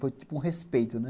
Foi tipo um respeito, né?